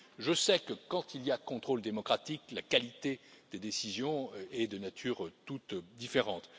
Je sais que, quand il y a contrôle démocratique, la qualité des décisions est de nature toute différente.